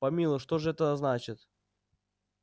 помилуй что же это значит